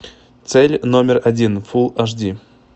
цель номер один фулл аш ди